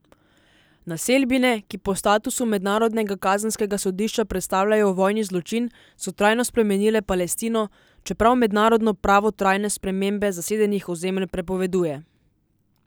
Naselbine, ki po statutu Mednarodnega kazenskega sodišča predstavljajo vojni zločin, so trajno spremenile Palestino, čeprav mednarodno pravo trajne spremembe zasedenih ozemelj prepoveduje.